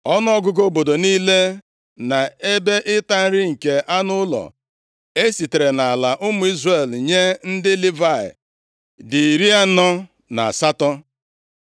Ọnụọgụgụ obodo niile na ebe ịta nri nke anụ ụlọ e sitere nʼala ụmụ Izrel nye ndị Livayị dị iri anọ na asatọ.